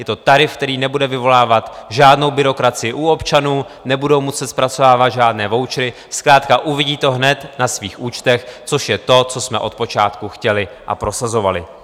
Je to tarif, který nebude vyvolávat žádnou byrokracii u občanů, nebudou muset zpracovávat žádné vouchery, zkrátka uvidí to hned na svých účtech, což je to, co jsme od počátku chtěli a prosazovali.